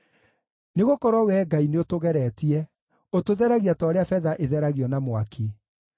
Nĩgũkorwo Wee Ngai nĩũtũgeretie; ũtũtheragia ta ũrĩa betha ĩtheragio na mwaki.